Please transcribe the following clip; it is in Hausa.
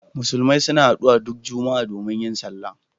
Musulmi suna haɗuwa duk Juma'a domin yin sallah.